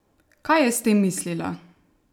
Kaj je s tem mislila?